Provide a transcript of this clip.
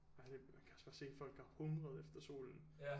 Ej man kan også bare se at folk har hungret efter solen